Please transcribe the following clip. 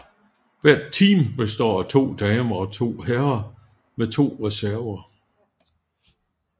Hvert team består af to damer og to herrer med to reserver